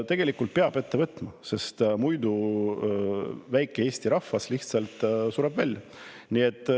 Tegelikult peab ette võtma, sest muidu väike eesti rahvas lihtsalt sureb välja.